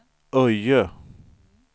Öje